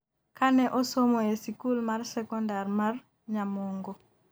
kane osomo e sikul mar sekondar mar Nyamongo